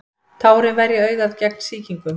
tárin verja augað gegn sýkingum